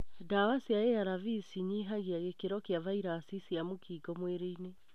Dawa cia ARV cinyihagia gĩkĩro kia virasi cia mũkingo mwĩrĩinĩ.